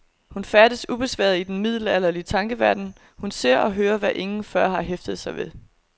Hun færdes ubesværet i den middelalderlige tankeverden, hun ser og hører, hvad ingen før har hæftet sig ved.